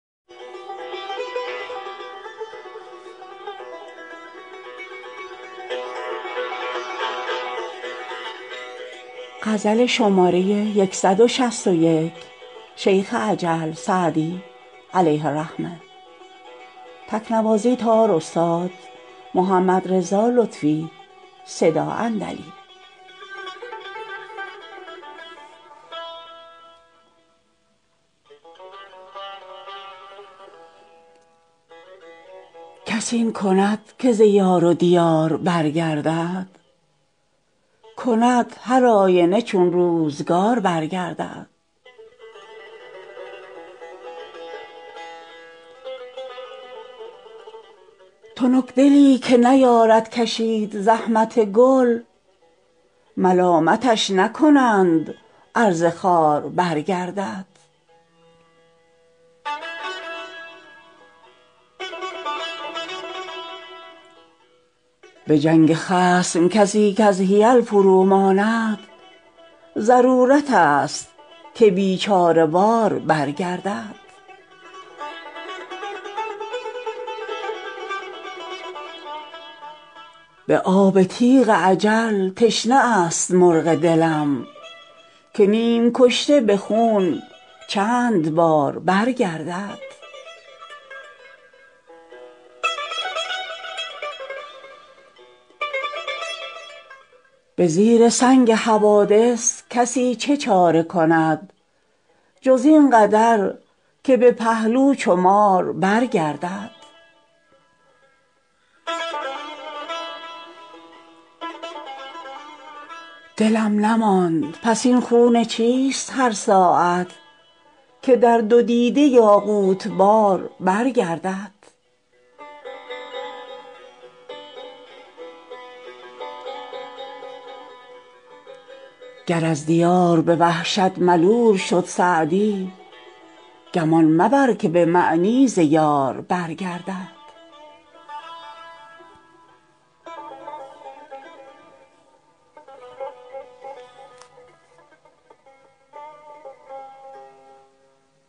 کس این کند که ز یار و دیار برگردد کند هرآینه چون روزگار برگردد تنکدلی که نیارد کشید زحمت گل ملامتش نکنند ار ز خار برگردد به جنگ خصم کسی کز حیل فروماند ضرورتست که بیچاره وار برگردد به آب تیغ اجل تشنه است مرغ دلم که نیم کشته به خون چند بار برگردد به زیر سنگ حوادث کسی چه چاره کند جز این قدر که به پهلو چو مار برگردد دلم نماند پس این خون چیست هر ساعت که در دو دیده یاقوت بار برگردد گر از دیار به وحشت ملول شد سعدی گمان مبر که به معنی ز یار برگردد